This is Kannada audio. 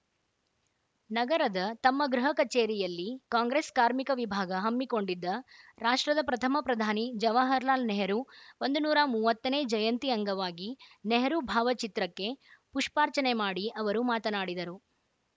ನಗರದ ತಮ್ಮ ಗೃಹ ಕಚೇರಿಯಲ್ಲಿ ಕಾಂಗ್ರೆಸ್‌ ಕಾರ್ಮಿಕ ವಿಭಾಗ ಹಮ್ಮಿಕೊಂಡಿದ್ದ ರಾಷ್ಟ್ರದ ಪ್ರಥಮ ಪ್ರಧಾನಿ ಜವಾಹರಲಾಲ್‌ ನೆಹರೂ ಒಂದು ನೂರ ಮೂವತ್ತನೇ ಜಯಂತಿ ಅಂಗವಾಗಿ ನೆಹರೂ ಭಾವಚಿತ್ರಕ್ಕೆ ಪುಷ್ಪಾರ್ಚನೆ ಮಾಡಿ ಅವರು ಮಾತನಾಡಿದರು